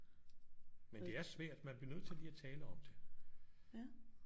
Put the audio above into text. Men det er svært man bliver nødt til lige at tale om det